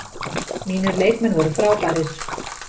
Mínir leikmenn voru frábærir.